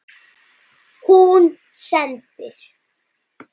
Hún sendir